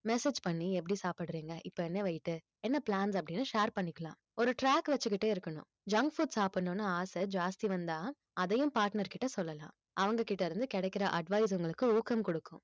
message பண்ணி எப்படி சாப்பிடறீங்க இப்ப என்ன weight என்ன plans அப்படின்னு share பண்ணிக்கலாம் ஒரு track வச்சுக்கிட்டே இருக்கணும் junk food சாப்பிடணும்ன்னு ஆசை ஜாஸ்தி வந்தால் அதையும் partner கிட்ட சொல்லலாம் அவங்க கிட்ட இருந்து கிடைக்கிற advice உங்களுக்கு ஊக்கம் கொடுக்கும்